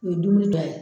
U ye dumuni dɔ ye